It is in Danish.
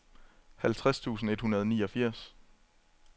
halvtreds tusind et hundrede og niogfirs